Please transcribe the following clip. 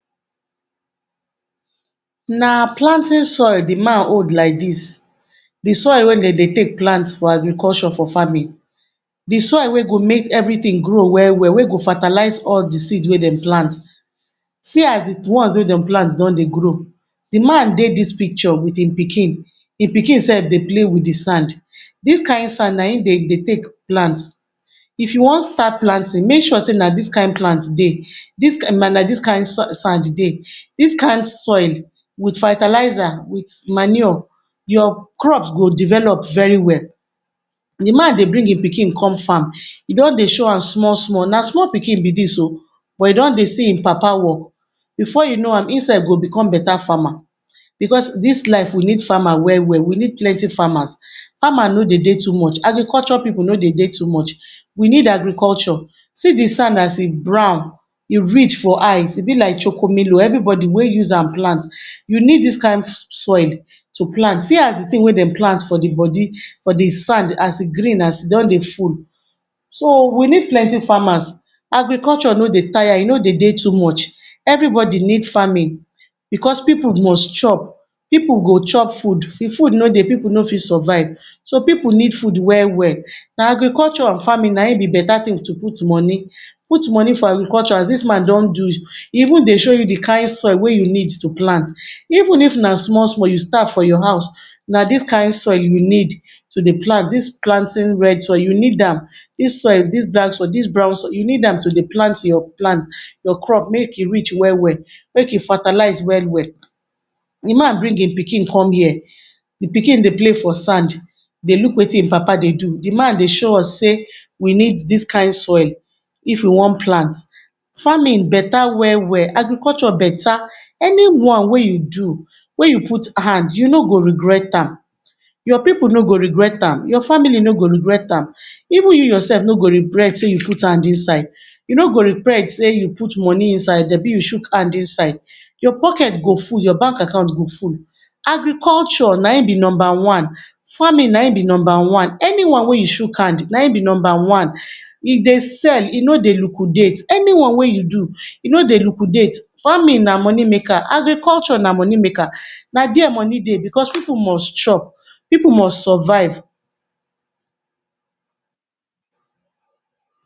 Na planting soil di man hold like dis, di soil wey dey de take plant for agriculture for farming, di soil we go make everytin grow well-well we go fertalize all di seed wey dem plant See as di ones wey dey plant don dey grow, di man dey dis picture wit im pikin, di pikin self dey play wit di sand Dis kain sand n aim dey de plant, if you wan start planting make sure sey na dis kain plant dey, dis kain na na um dis kain sand dey, dis kain soil with fertilizer wit manure your crop go develop very well Di man dey bring im pikin come farm e don dey show am small-small, na small pikin be dis oh buh e don dey see im papa work before you no am im self go become beta farmer because dis life we need farmer well-well we need plenty farmers Farmer no dey de too much agriculture pipu no dey dey too much, we need agriculture see di sand as e brown, e rich for eye e be like choco milo every bodi wey use am plant you need dis kain soil to plant See as di tin wey dey plant for di bodi for di sand as e green as e don dey full, so we need plenty farmer agriculture e no dey tire e no dey de too much every bodi need farming because pipu must chop, pipu go chop food If food no dey pipu no fit survive so pipu need food well-well, na agriculture and farming na im be beta tin to put moni, put moni for agriculture as dis man don do e even dey show you di kain soil wey you need to plant Even if na small-small you start for your house na dis kain soil you need to dey plant, dis planting red soil you need am dis soil, dis black soil, dis brown soil you need am to dey plant your plant your crop make e rich well-well make e fertalize well-well Di man bring im pikin com here di pikin dey play for sand dey look wetin im papa dey do, di man dey show us sey we need dis kain soil if we wan palnt Farming beta well-well agriculture beta any one wey you do wey you put hand you no go regret am, your pipu no go regret am, your family no go regret am, even you yourself no go regret sey you put hand inside, you no go regret sey you put hand inside, you no go regret sey you put moni inside abi you chuk hand inside Your poket go full, your bank akant go full, agriculture n aim be numba one farming n aim be numba one, any one wey you chuk hand n aim be numba one e dey sell e no dey lukudat, any one wey you do e no dey lukudat Farming na moni maker, agriculture na moni maker na dia moni dey because pipu must chop, pipu must survive